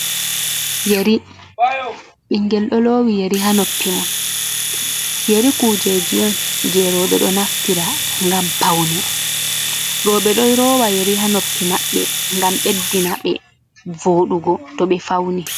Yeri :Ɓiingel ɗo lowi yeri ha noppi mon. Yeri kujeji on je roɓe ɗo naftira ngam paune roɓe ɗo lowa yeri ha noppi maɓɓe ngam ɓeddina ɓe vodugo to ɓe fauni.